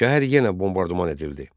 Şəhər yenə bombardman edildi.